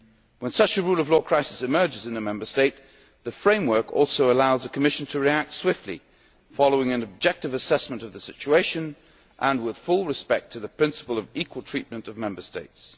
When such a rule of law crisis emerges in a Member State, the framework also allows the Commission to react swiftly, following an objective assessment of the situation and with full respect to the principle of equal treatment of Member States.